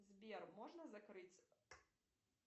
сбер можно закрыть